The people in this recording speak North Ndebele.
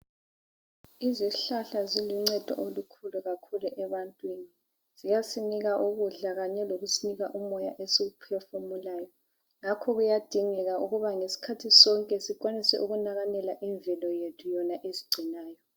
Izihlahla ziluncedo olukhulu kakhulu ebantwini, ziyasinika ukudla kanye lokusinika umoya esiwuphefumulayo. Ngakho kuyadingeka ukuba ngesikhathi sonke sikwanise ukunakanela imvelo yethu yona esigcinayo.